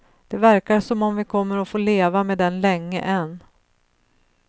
Det verkar som om vi kommer att få leva med den länge än.